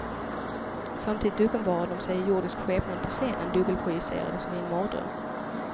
Samtidigt uppenbarar de sig i jordisk skepnad på scenen, dubbelprojicerade som i en mardröm.